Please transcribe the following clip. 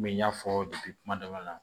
Komi n y'a fɔ kuma daminɛ na